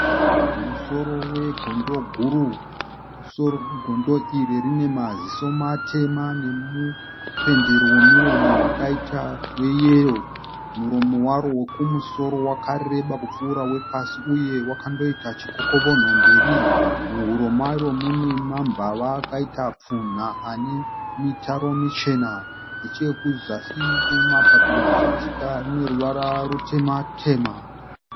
Musoro wegondo guru. Musoro wegondo iri rine maziso matema nemupendero wemiromo wakaita weyero . Muromo waro wekumusoro wakareba kupfuura wepasi uye wakandoita chikokovonho mberi. Muhuro maro mune mambava akaita pfunha ane mitaro michena. Nechekuzasi kwemapapiro zvichidzika rine ruvara rutema tema.